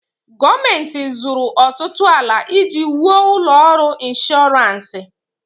Gọọmenti zụrụ ọtụtụ ala iji wuo ụlọ ọrụ ịnshọransị.